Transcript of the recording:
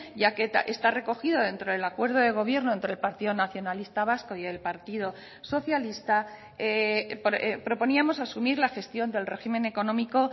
ya que está recogido dentro del acuerdo de gobierno entre el partido nacionalista vasco y el partido socialista proponíamos asumir la gestión del régimen económico